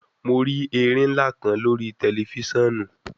Mo ri erin nla kan lori tẹlifisiọnu